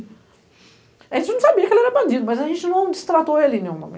A gente não sabia que ele era bandido, mas a gente não o destratou em nenhum momento.